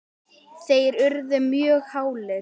þeir urðu mjög hálir.